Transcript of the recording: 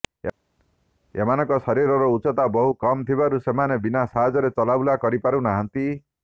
ଏମାନଙ୍କ ଶରୀରର ଉଚ୍ଚତା ବହୁ କମ ଥିବାରୁ ସେମାନେ ବିନା ସାହାଯ୍ୟରେ ଚଲାବୁଲା କରିପାରୁ ନାହାନ୍ତି